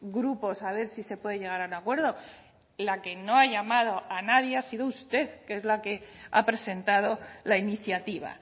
grupos a ver si se puede llegar a un acuerdo la que no ha llamado a nadie ha sido usted que es la que ha presentado la iniciativa